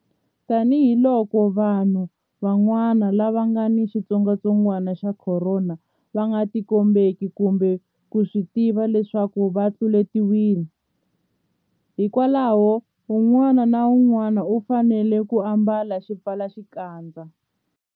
Tanihiloko vanhu van'wana lava nga ni xitsongwantsongwanaxa Khorona va nga tikombeki kumbe ku swi tiva leswaku va tluletiwile, hikwalaho un'wana na un'wana u fanele ku ambala xipfalaxikandza.